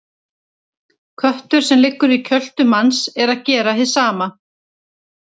Köttur sem liggur í kjöltu manns er að gera hið sama.